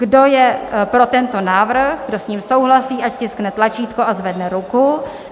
Kdo je pro tento návrh, kdo s ním souhlasí, ať stiskne tlačítko a zvedne ruku.